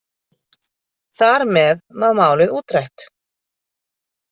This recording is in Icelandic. Þar með var málið útrætt.